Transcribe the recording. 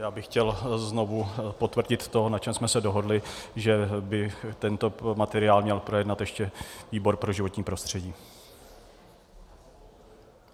Já bych chtěl znovu potvrdit to, na čem jsme se dohodli, že by tento materiál měl projednat ještě výbor pro životní prostředí.